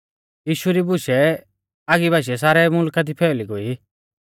यीशु री बूशै आगी बाशीऐ सारै मुलखा दी फैअली गोई